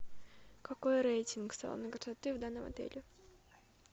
какой рейтинг салона красоты в данном отеле